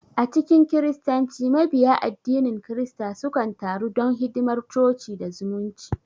A cikin Kiristanci, Mabiya addinin kirista sukan taru don hidimar coci da zumunci.